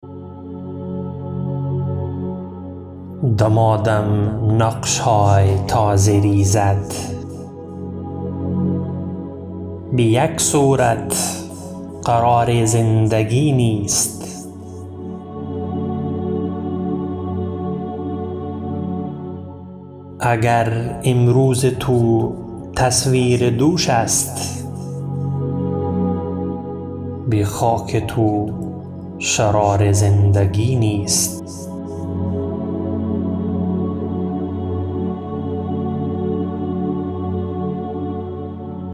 دمادم نقش های تازه ریزد بیک صورت قرار زندگی نیست اگر امروز تو تصویر دوش است بخاک تو شرار زندگی نیست